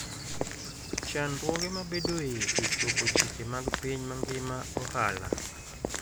Chandruoge mabedoe e chopo chike mag piny mangima ohala.